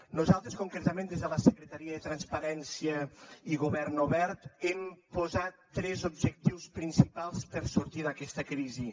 nosaltres concretament des de la secretaria de transparència i govern obert hem posat tres objectius principals per a sortir d’aquesta crisi